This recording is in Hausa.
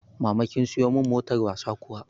Mama kin siyo mun motar wasan kuwa?